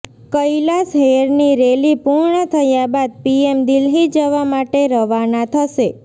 કૈલાશહેરની rally પૂર્ણ થયા બાદ પીએમ દિલ્હી જવા માટે રવાના થશે